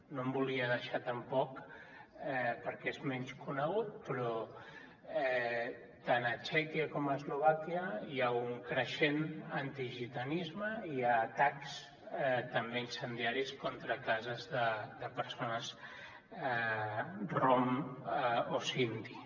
no em volia deixar tampoc perquè és menys conegut però tant a txèquia com a eslovàquia hi ha un creixent antigitanisme i hi ha atacs també incendiaris contra cases de persones rom o sindhi